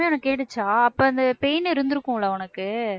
கேட்டுச்சா அப்ப அந்த pain இருந்திருக்கும் இல்ல உனக்கு